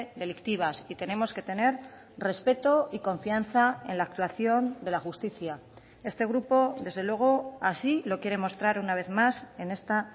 delictivas y tenemos que tener respeto y confianza en la actuación de la justicia este grupo desde luego así lo quiere mostrar una vez más en esta